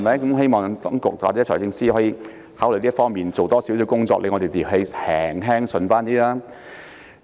我希望當局或財政司司長考慮就此多做些工作，令我們心情稍為舒暢一些。